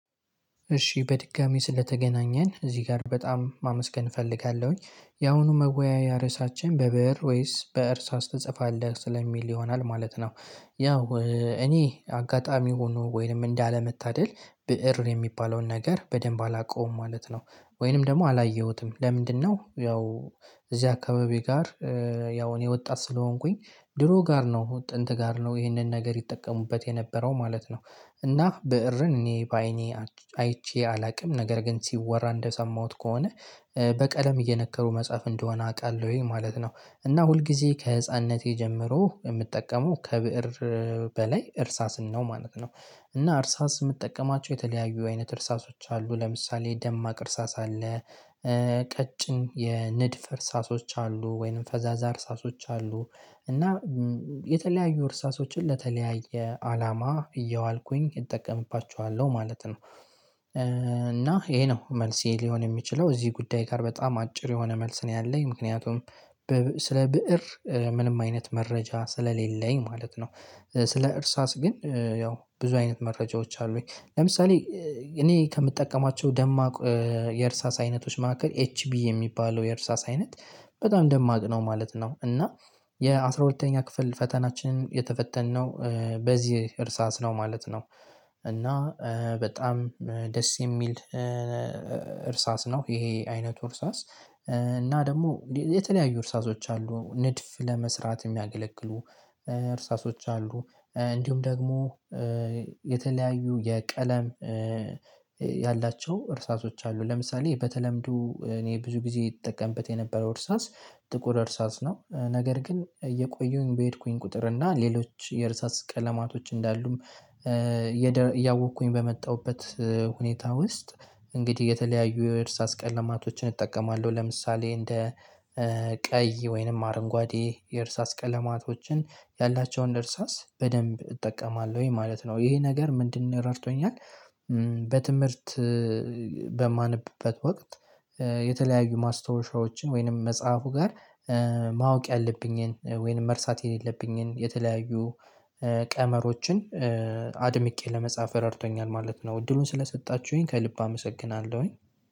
እሺ በድጋሚ ስለተገናኘን እዚህ ጋር በጣም ማመስገን እፈልጋለሁኝ ያአሁኑ መወያያ ርዕሳቸውን በብእር ወይስ በእርሳስ ትጽፋለህ ስለሚል ይሆናል ማለት ነው። ያው እኔ አጋጣሚ ሁኖ ወይንም እንዳለመታደል ብእር የሚባለውን ነገር በደንብ አላውቀውም ማለት ነው። ወይንም ደግሞ አላየሁትም ለምንድነው? ያው እዚህ አካባቢ ጋር። ያው እኔ ወጣት ስለሆንኩኝ ድሮ ጋር ነው ጥንት ጋር ነው ይህንን ነገር ይጠቀሙበት የነበረው ማለት ነው። እና ብእርን እኔ በአይኔ አይቼ አላውቅም ነገር ግን ሲወራ እንደሰማሁት ከሆነ በቀለም እየነከሩ መጽሐፍ እንደሆነ አውቃለሁኝ ማለት ነው። እና ሁልጊዜ ከህፃንነቴ ጀምሮ የምጠቀመው ከብእር በላይ እርሳስን ነው ማለት ነው። እና እርሳስ የምጠቀማቸው የተለያዩ አይነት እርሳሶች አሉ ለምሳሌ ደማቅ እርሳስ አለ። ቀጭን የንድፍ እርሳሶች አሉ ወይንም ፈዛዛ እርሳሶች አሉ። እና የተለያዩ እርሳሶችን ለተለያየ አላማ እየያዋልኩኝ እጠቀምባቸዋለው ማለት ነው። እና ይሄ ነው መልሴ ሊሆን የሚችለው እዚህ ጉዳይ ጋር በጣም አጭር የሆነ መልስ ነው ያለኝ ምክንያቱም። ስለ ብእር ምንም አይነት መረጃ ስለሌለኝ ማለት ነው። ስለ እርሳስ ግን ያው ብዙ አይነት መረጃዎች አሉኝ ለምሳሌ። እኔ ከምጠቀማቸው ደማቅ የእርሳስ አይነቶች መካከል ኤች ቢ የሚባለው የእርሳስ አይነት በጣም ደማቅ ነው ማለት ነው። እና የአስራሁለተኛ ክፍል ፈተናችንን የተፈተነው በዚህ እርሳስ ነው ማለት ነው። እና በጣም ደስ የሚል እርሳስ ነው ይሄ አይነቱ እርሳስ። እና ደግሞ የተለያዩ እርሳሶች አሉ ንድፍ ለመስራት የሚያገለግሉ እርሳሶች አሉ። እንዲሁም ደግሞ የተለያዩ የቀለም ያላቸው እርሳሶች አሉ። ለምሳሌ በተለምዶ እኔ ብዙ ጊዜ እጠቀምበት የነበረው እርሳስ ጥቁር እርሳስ ነው። ነገር ግን እየቆዩሁኝ በሄድኩኝ ቁጥር እና ሌሎች የእርሳስ ቀለማቶች እንዳሉም እያወቅኩኝ በመጣሁበት ሁኔታ ውስጥ። እንግዲህ የተለያዩ የእርሳስ ቀለማቶችን እጠቀማለሁ ለምሳሌ እንደ ቀይ ወይንም አረንጓዴ የእርሳስ ቀለማቶችን ያላቸውን እርሳስ በደንብ እጠቀማለሁኝ ማለት ነው። ይሄ ነገር ምንድነው ረድቶኛል? በትምህርት በማንብበት ወቅት የተለያዩ ማስታወሻዎችን ወይንም መጽሐፉ ጋር ማወቅ ያለብኝን ወይንም መርሳት የሌለብኝን የተለያዩ ቀመሮችን አድምቄ ለመጻፍ ረድቶኛል ማለት ነው። እድሉን ስለሰጣችሁኝ ከልብ አመሰግናለሁኝ።